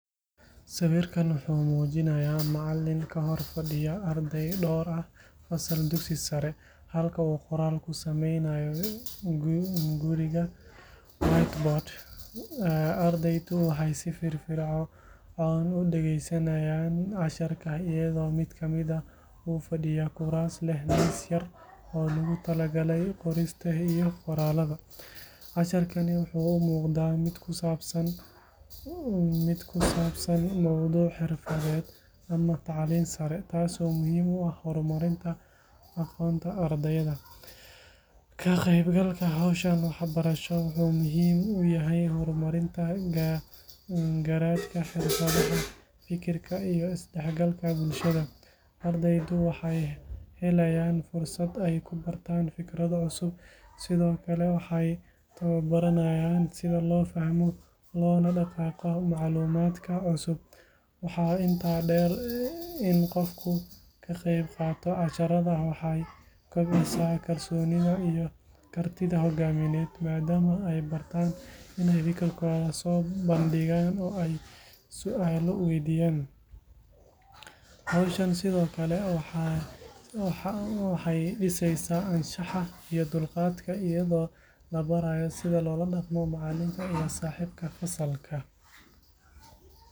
Sawirkan wuxuu muujinayaa macallin ka hor fadhiya arday dhowr ah fasal dugsi sare ah, halka uu qoraal ku sameynayo guddiga whiteboard. Ardaydu waxay si firfircoon u dhegeysanayaan casharka, iyadoo mid ka mid ah uu ku fadhiyaa kuraas leh miis yar oo loogu talagalay qorista iyo qoraalada. Casharkani wuxuu u muuqdaa mid ku saabsan mowduuc xirfadeed ama tacliin sare, taasoo muhiim u ah horumarinta aqoonta ardayda. Ka qaybgalka hawshan waxbarasho wuxuu muhiim u yahay horumarinta garaadka, xirfadaha fikirka iyo is-dhexgalka bulshada. Ardaydu waxay helayaan fursad ay ku bartaan fikrado cusub, sidoo kale waxay tababaranayaan sida loo fahmo loona dabaqo macluumaadka cusub. Waxaa intaa dheer, in qofku ka qayb qaato casharrada waxay kobcisaa kalsoonida iyo kartida hogaamineed maadaama ay bartaan inay fikirkooda soo bandhigaan oo ay su’aalo weydiiyaan. Hawshan sidoo kale waxay dhiseysaa anshaxa iyo dulqaadka iyadoo la baranayo sida loola dhaqmo macallinka iyo saaxiibada fasalka.